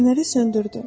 Fənəri söndürdü.